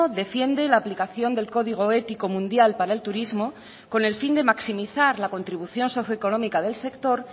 defiende la aplicación del código ético mundial para el turismo con el fin de maximizar la contribución socio económica del sector